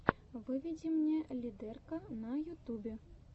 выведи мне лидэрка на ютубе